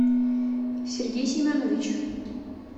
сергей семенович